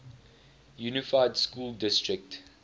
unified school district